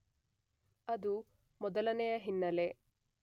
ಅದು ಮೊದಲನೆಯ ಹಿನ್ನೆಲೆ.